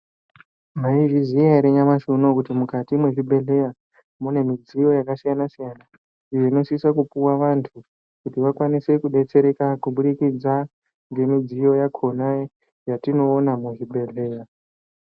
Mwaizviziya ere nyamashi unowu kuti mukati mwezvibhehleya mune mudziyo yakasiyana siyana iyo inosisa kupuwa vantu kuti vakwanise kudetsereka kubudikidza ngemudziyo yakona yatinoona muzvibhehleya.